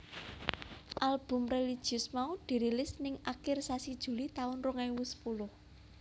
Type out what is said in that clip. Album religius mau dirilis ning akir sasi Juli taun rong ewu sepuluh